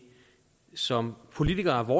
som politikere har